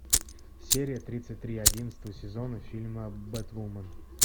серия тридцать три одиннадцатого сезона фильма бэтвумен